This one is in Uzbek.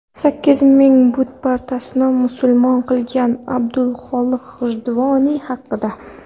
Sakkiz ming butparastni musulmon qilgan Abdulxoliq G‘ijduvoniy haqida.